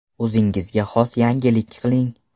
O‘zingizga xos yangilik qiling.